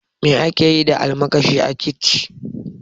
Me akeyi da almakashi a kici?